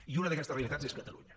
i una d’aquestes realitats és catalunya